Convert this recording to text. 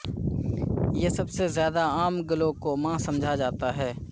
یہ سب سے زیادہ عام گلوکوما سمجھا جاتا ہے